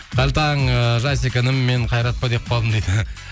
қайырлы таң ыыы жасик інім мен қайрат па деп қалдым дейді